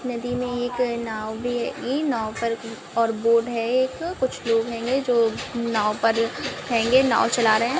नदी मैं एक नाव भी हेगी नाव पर और बोर्ड है एक कुछ लोग हेंगे जो नाव पर हेंगे नाव चला रहे है।